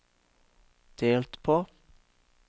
delt på